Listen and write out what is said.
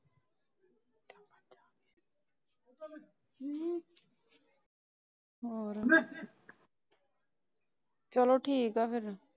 ਹੋਰ ਚਲੋ ਠੀਕ ਏ ਫਿਰ।